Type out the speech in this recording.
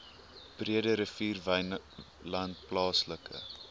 breederivier wynland plaaslike